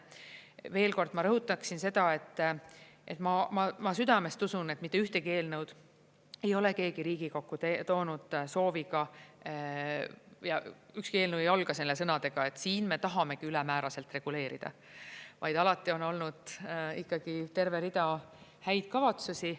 Veel kord ma rõhutaksin seda, et ma südamest usun, et mitte ühtegi eelnõu ei ole keegi Riigikokku toonud sooviga ja ükski eelnõu ei alga sõnadega, et siin me tahamegi ülemääraselt reguleerida, vaid alati on olnud ikkagi terve rida häid kavatsusi.